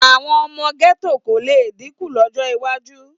Àwọn ọmọ gẹ́tò kò le dínkù lọ́jọ́ iwájú.